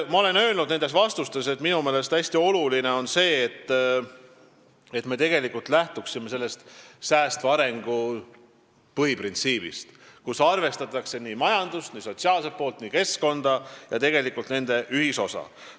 Ma olen öelnud oma vastustes, et minu meelest on hästi oluline lähtuda säästva arengu põhiprintsiibist, st arvestada majandust, sotsiaalset poolt, keskkonda ja ka nende kõigi ühisosa.